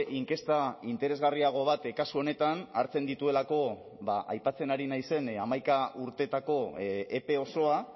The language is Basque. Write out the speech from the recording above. inkesta interesgarriago bat kasu honetan hartzen dituelako aipatzen ari naizen hamaika urteetako epe osoa